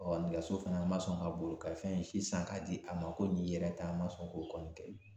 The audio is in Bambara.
nɛgɛso fana ma sɔn ka boli ka fɛn si san k'a di a ma ko nin y'i yɛrɛ ta ma sɔn k'o kɔni kɛ